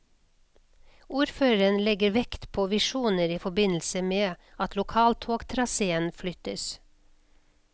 Ordføreren legger vekt på visjoner i forbindelse med at lokaltogtraséen flyttes.